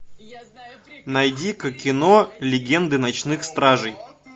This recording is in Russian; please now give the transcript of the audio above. найди ка кино легенды ночных стражей